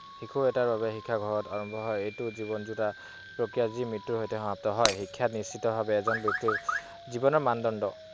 শিশু এটিৰ শিক্ষা ঘৰতে আৰম্ভ হয়। ই জীৱন জোৰা প্ৰক্ৰিয়া মই মৃত্যুৰ সৈতে সমাপ্ত হয়। শিক্ষা নিশ্চিত ভাৱে এজন ব্যক্তিৰ জীৱনৰ মানদণ্ড।